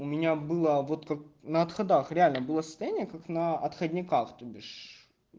у меня было вот как на отходах реально было состояние как на отходняках тобишь